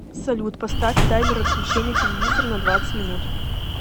салют поставь таймер отключения телевизора на двадцать минут